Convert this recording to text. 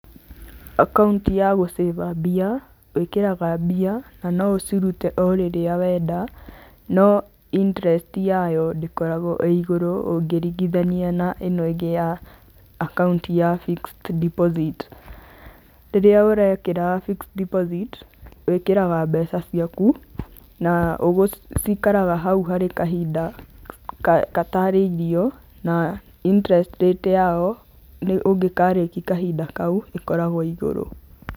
Akaunti ya gũcĩba mbia, wĩkagĩra mbia, na no ucirute rĩrĩa wenda, no interest yayo ndĩkoragwo ĩ igũrũ ũngĩringithania na ĩno ĩngĩ ya akaunti ya fixed deposit. Rĩrĩa ũrekĩra fixed deposit, wĩkĩraga mbeca ciaku, na cikaraga hau harĩ kahinda gatarĩirio na interest rate yao, ũngĩkarĩkia kahinda kau, ĩkoragwo igũrũ.